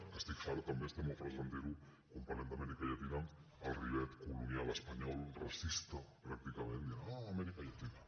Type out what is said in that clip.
que n’estic fart també estem molt farts de sentir ho quan parlem d’amèrica llatina el rivet colonial espanyol racista pràcticament dient ah amèrica llatina